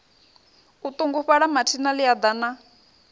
o ṱungufhala mathina ḽia ḓana